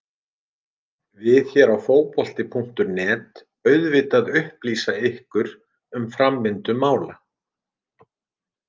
Við hér á Fótbolti.net auðvitað upplýsa ykkur um framvindu mála.